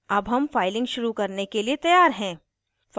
अब हम फाइलिंग शुरू करने के लिए तैयार हैं